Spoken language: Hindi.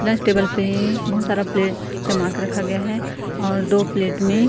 प्लस टेबल पे बहोत सारा प्लेट जमा कर रखा गया है और दो प्लेट में--